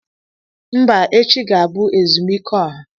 Mba! Echi ga-abụ ezumike ọha.